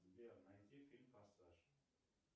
сбер найти фильм форсаж